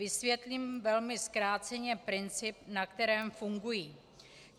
Vysvětlím velmi zkráceně princip, na kterém fungují.